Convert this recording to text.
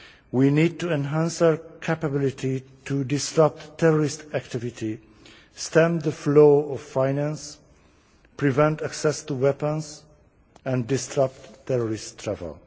We need to enhance our capability to disrupt terrorist activity, stem the flow of finance, prevent access to weapons and disrupt terrorist travel.